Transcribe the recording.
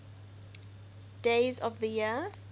days of the year